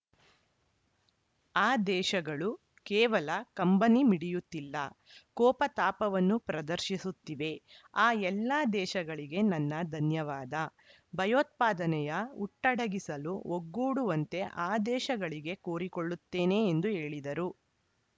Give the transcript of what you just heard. ಆ ದೇಶಗಳು ಕೇವಲ ಕಂಬನಿ ಮಿಡಿಯುತ್ತಿಲ್ಲ ಕೋಪತಾಪವನ್ನೂ ಪ್ರದರ್ಶಿಸುತ್ತಿವೆ ಆ ಎಲ್ಲ ದೇಶಗಳಿಗೆ ನನ್ನ ಧನ್ಯವಾದ ಭಯೋತ್ಪಾದನೆಯ ಹುಟ್ಟಡಗಿಸಲು ಒಗ್ಗೂಡುವಂತೆ ಆ ದೇಶಗಳಿಗೆ ಕೋರಿಕೊಳ್ಳುತ್ತೇನೆ ಎಂದು ಹೇಳಿದರು